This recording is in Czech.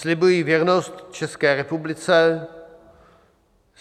"Slibuji věrnost České republice.